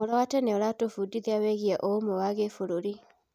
Ũhoro wa tene ũratũbundithia wĩgiĩ ũrũmwe wa kĩbũrũri.